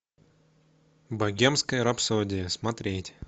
богемская рапсодия смотреть